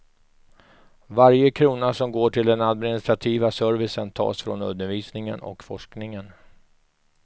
Varje krona som går till den administrativa servicen tas från undervisningen och forskningen.